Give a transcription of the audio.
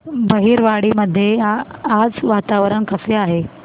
बहिरवाडी मध्ये आज वातावरण कसे आहे